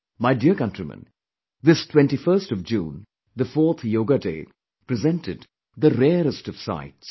My dear countrymen, this 21st of June, the fourth Yoga Day presented the rarest of sights